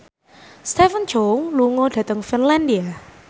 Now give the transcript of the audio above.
Stephen Chow lunga dhateng Finlandia